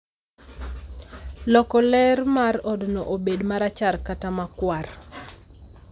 loko ler mar odno obed marachar kata makwar